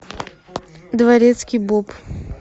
дворецкий боб